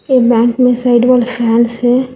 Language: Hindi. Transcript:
ये बैंक में साइड वॉल फैंस है।